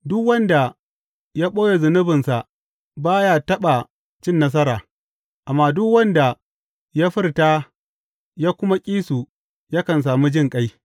Duk wanda ya ɓoye zunubansa ba ya taɓa cin nasara, amma duk wanda ya furta ya kuma ƙi su yakan sami jinƙai.